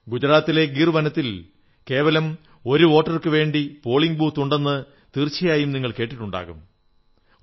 ഗുജറാത്തിലെ ഗീർ വനത്തിൽ കേവലം ഒരു വോട്ടർക്കുവേണ്ടി പോളിംഗ് ബൂത്തുണ്ടെന്ന് തീർച്ചയായും കേട്ടിട്ടുണ്ടാകും